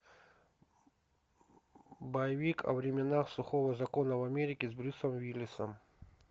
боевик о временах сухого закона в америке с брюсом уиллисом